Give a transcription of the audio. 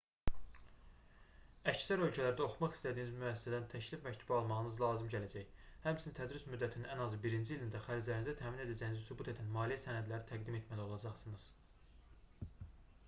əksər ölkələrdə oxumaq istədiyiniz müəssisədən təklif məktubu almağınız lazım gələcək həmçinin tədris müddətinin ən azı birinci ilində xərclərinizi təmin edəcəyinizi sübut edən maliyyə sənədləri təqdim etməli olacaqsınız